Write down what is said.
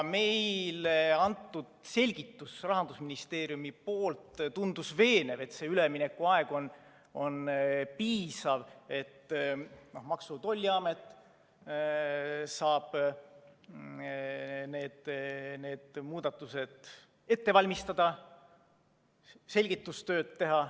Meile antud Rahandusministeeriumi selgitus tundus veenev, see üleminekuaeg on piisav, et Maksu‑ ja Tolliamet saab need muudatused ette valmistada, selgitustööd teha.